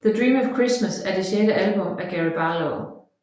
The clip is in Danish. The Dream of Christmas er det sjette album af Gary Barlow